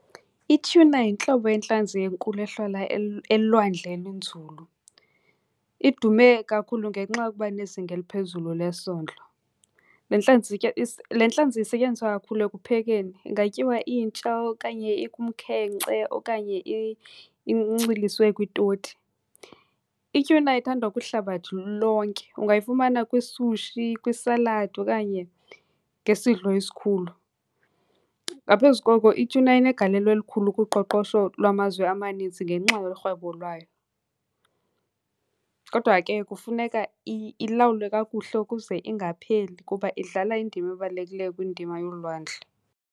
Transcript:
Ityhuna yintlobo yentlanzi enkulu ehlala elwandle elinzulu. Idume kakhulu ngenxa yokuba nezinga eliphezulu lesondlo. Le ntlanzi ke , le ntlanzi isetyenziswa kakhulu ekuphekeni. Ingatyiwa intsha okanye ikumkhenkce okanye inciliswe kwitoti. Ityhuna ithandwa kwihlabathi lonke. Ungayifumana kwisushi, kwisaladi okanye ngesidlo esikhulu. Ngaphezu koko ityhuna inegalelo elikhulu kuqoqosho lwamazwe amanintsi ngenxa yorhwebo lwayo. Kodwa ke kufuneka ilawulwe kakuhle ukuze ingapheli kuba idlala indima ebalulekileyo kwindima yolwandle.